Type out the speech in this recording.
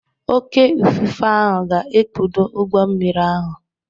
Oké ifufe ahụ ga-ekpudo ụgbọ mmiri ahụ.